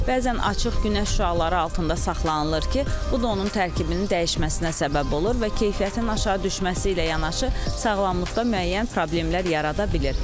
Bəzən açıq günəş şüaları altında saxlanılır ki, bu da onun tərkibinin dəyişməsinə səbəb olur və keyfiyyətinin aşağı düşməsi ilə yanaşı sağlamlıqda müəyyən problemlər yarada bilir.